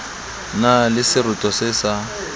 na le seroto se sa